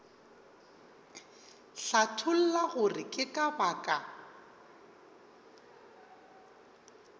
hlatholla gore ke ka baka